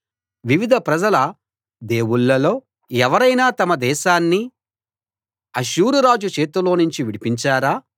వివిధ ప్రజల దేవుళ్లలో ఎవరైనా తమ దేశాన్ని అష్షూరురాజు చేతిలోనుంచి విడిపించారా